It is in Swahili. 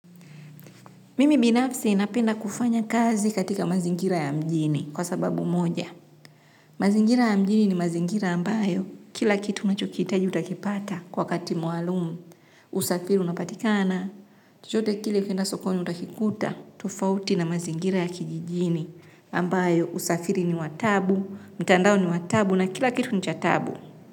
Mimi binafsi napenda kufanya kazi katika mazingira ya mjini kwa sababu moja. Mazingira ya mjini ni mazingira ambayo kila kitu unachokitaji utakipata kwa wakati maalum. Usafiri unapatikana, chochote kile ukienda sokoni utakikuta, tofauti na mazingira ya kijijini ambayo usafiri ni wataabu, mtandao ni wataabu na kila kitu ni chataabu.